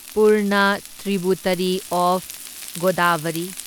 Purna tributary of Godavari